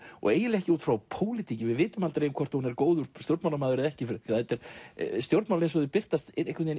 og eiginlega ekki út frá pólitíkinni við vitum aldrei hvort hún er góður stjórnmálamaður eða ekki þetta er stjórnmálin eins og þau birtast